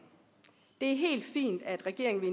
det er helt fint at regeringen